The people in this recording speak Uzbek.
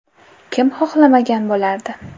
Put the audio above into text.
Kim xohlamagan bo‘lardi?